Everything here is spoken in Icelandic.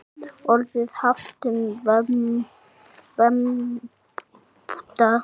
Orðið haft um vembda kú.